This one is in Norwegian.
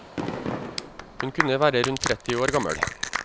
Hun kunne være rundt tretti år gammel.